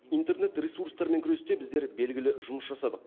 интернет ресурстармен күресте біздер белгілі жұмыс жасадық